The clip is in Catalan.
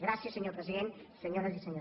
gràcies senyor president senyores i senyors diputats